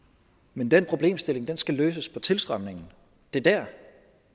men den problemstilling skal løses til tilstrømningen det er dér